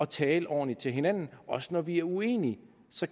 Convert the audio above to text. tale ordentligt til hinanden også når vi er uenige